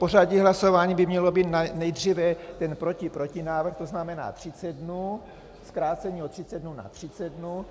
Pořadí hlasování by mělo být nejdříve ten protiprotinávrh, to znamená 30 dnů - zkrácení o 30 dnů na 30 dnů.